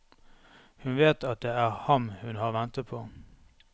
Hun vet at det er ham hun har ventet på.